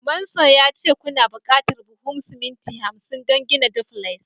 manson ya ce kuna buƙatar buhun siminti hamsin don gina duplex.